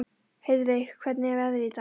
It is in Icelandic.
Heiðveig, hvernig er veðrið í dag?